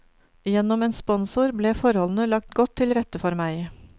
Gjennom en sponsor ble forholdene lagt godt til rette for meg.